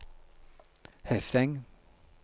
Hesseng